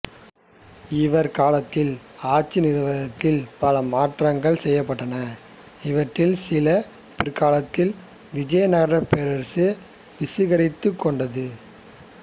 இவர் காலத்தில் ஆட்சி நிர்வாகத்தில் பல மாற்றங்கள் செய்யப்பட்டன இவற்றில் சில பிற்காலத்தில் விஜயநகரப் பேரரசு சுவீகரித்துக்கொண்டது